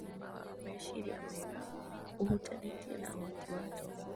Ũgima wa meciria mega ũhutanĩtie na ũhoti wa tombo